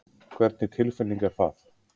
Hvernig tilfinning er það?